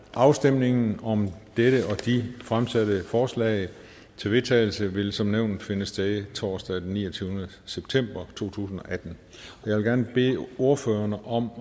afstemningen om de fremsatte forslag til vedtagelse vil som nævnt finde sted torsdag den niogtyvende september to tusind og atten jeg vil gerne bede ordførerne om